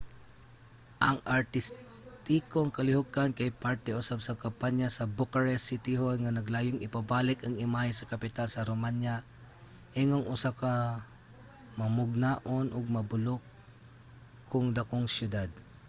ang artistikong kalihukan kay parte usab sa kampanya sa bucharest city hall nga naglayong ipabalik ang imahe sa kapital sa romania ingong usa ka mamugnaon ug mabulokong dakong siyudad